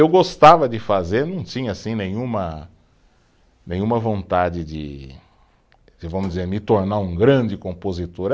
Eu gostava de fazer, não tinha assim nenhuma, nenhuma vontade de, de vamos dizer, me tornar um grande compositor.